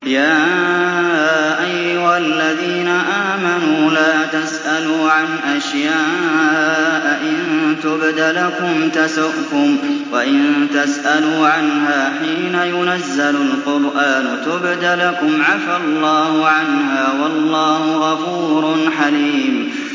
يَا أَيُّهَا الَّذِينَ آمَنُوا لَا تَسْأَلُوا عَنْ أَشْيَاءَ إِن تُبْدَ لَكُمْ تَسُؤْكُمْ وَإِن تَسْأَلُوا عَنْهَا حِينَ يُنَزَّلُ الْقُرْآنُ تُبْدَ لَكُمْ عَفَا اللَّهُ عَنْهَا ۗ وَاللَّهُ غَفُورٌ حَلِيمٌ